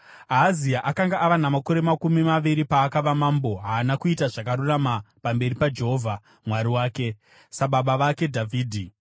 Ahazi akanga ava namakore makumi maviri paakava mambo. Haana kuita zvakarurama pamberi paJehovha Mwari wake, sababa vake Dhavhidhi.